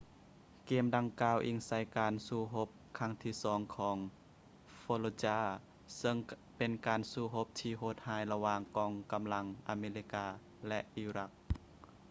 ເກມດັ່ງກ່າວອີງໃສ່ການສູ້ຮົບຄັ້ງທີສອງຂອງ fallujah ເຊິ່ງເປັນການສູ້ຮົບທີ່ໂຫດຮ້າຍລະຫວ່າງກອງກຳລັງອາເມລິກາ ແລະ ອີຣັກ